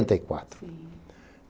E quatro.